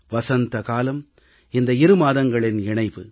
வசந்த காலம் இந்த இரு மாதங்களின் இணைவு